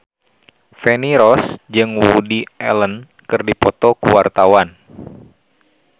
Feni Rose jeung Woody Allen keur dipoto ku wartawan